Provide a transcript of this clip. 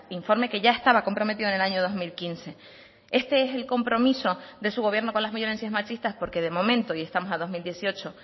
informe que ya estaba comprometido en el año dos mil quince este es el compromiso de su gobierno con las violencias machistas porque de momento y estamos a dos mil dieciocho